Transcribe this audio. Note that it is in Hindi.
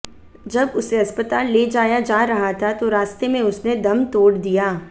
जब उसे अस्पताल ले जाया जा रहा था तो रास्ते में उसने दम तोड़ दिया